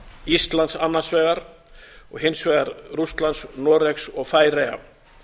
íslands annars vegar og hins vegar rússlands noregs og færeyja